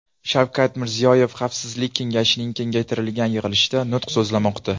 Shavkat Mirziyoyev Xavfsizlik kengashining kengaytirilgan yig‘ilishida nutq so‘zlamoqda.